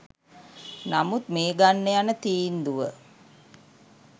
නමුත් මේ ගන්න යන තීන්දුව